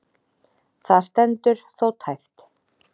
Það stendur þó tæpt.